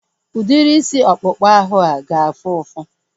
Udiri isi ọkpụkpa ahu a ga-afụ ụfụ?